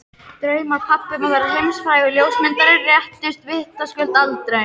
Draumar pabba um að verða heimsfrægur ljósmyndari rættust vitaskuld aldrei.